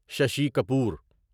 Shashi Kapoor